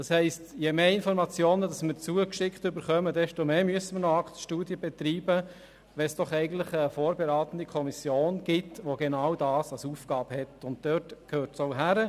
Das heisst, je mehr Informationen wir zugeschickt bekommen, desto mehr Zeit müssen wir ins Aktenstudium investieren, obwohl es eigentlich eine vorberatende Kommission gibt, deren Aufgabe genau dieses Aktenstudium ist.